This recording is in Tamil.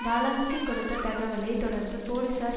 டாலான்ஸ்கி கொடுத்த தகவலை தொடர்ந்து போலீசார்